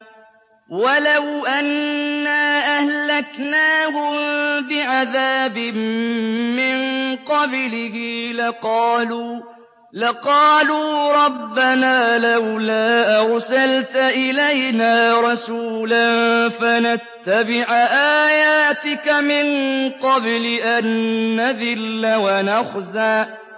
وَلَوْ أَنَّا أَهْلَكْنَاهُم بِعَذَابٍ مِّن قَبْلِهِ لَقَالُوا رَبَّنَا لَوْلَا أَرْسَلْتَ إِلَيْنَا رَسُولًا فَنَتَّبِعَ آيَاتِكَ مِن قَبْلِ أَن نَّذِلَّ وَنَخْزَىٰ